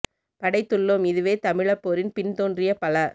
படைத்துள்ளோம் இதுவே தமிழப்போரின் பின் தோன்றிய பல